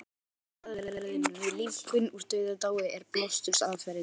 Helsta aðferðin við lífgun úr dauðadái er blástursaðferðin.